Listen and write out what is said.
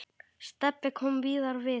Stebbi kom víðar við.